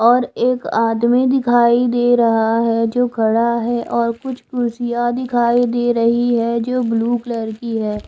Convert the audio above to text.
और एक आदमी दिखाई दे रहा है जो खड़ा है और कुछ कुर्सियां दिखाई दे रही है जो ब्लू कलर की है।